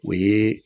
O ye